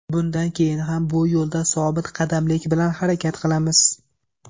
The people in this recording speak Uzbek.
Bundan keyin ham bu yo‘lda sobitqadamlik bilan harakat qilamiz.